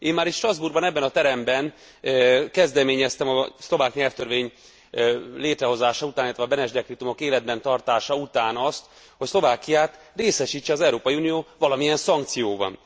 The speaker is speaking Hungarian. Én már itt Strasbourgban, ebben a teremben kezdeményeztem a szlovák nyelvtörvény létrehozása után, illetve a Beneš dekrétumok életben tartása után azt, hogy Szlovákiát részesítse az Európai Unió valamilyen szankcióban.